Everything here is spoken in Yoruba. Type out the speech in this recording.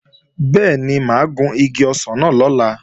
Bẹ́ẹ̀ni, mà á gun igi ọsàn náà lọ́la